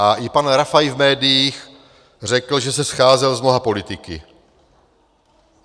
A i pan Rafaj v médiích řekl, že se scházel s mnoha politiky.